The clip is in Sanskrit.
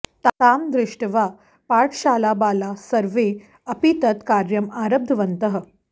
तां दृष्ट्वा पाठशालाबालाः सर्वे अपि तत् कार्यम् आरब्धवन्तः